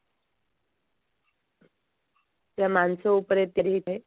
ସେଟା ମାଂସ ଉପରେ ତିଆରି ହେଇଥାଏ